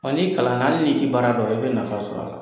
Wa n'i kalanna hali n'i tɛ baara dɔn i bɛ nafa sɔr'a la.